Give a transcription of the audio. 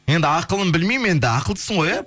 енді ақылын білмеймін енді ақылдысың ғой иә